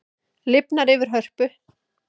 Lifnar yfir Hörpu